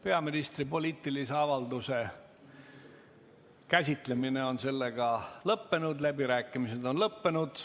Peaministri poliitilise avalduse käsitlemine on lõppenud, ka läbirääkimised on lõppenud.